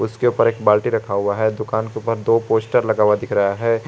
उसके ऊपर एक बाल्टी रखा हुआ है दुकान के ऊपर दो पोस्टर दिखाई दे रहा है।